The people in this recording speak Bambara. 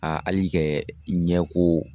A hali kɛ ɲɛ ko